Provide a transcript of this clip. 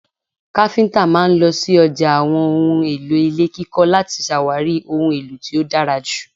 Kafinta máa ń lọ sí ọjà àwọn ohùn èlò ilé kíkọ láti ṣàwárí ohun èlò tí ó dára ju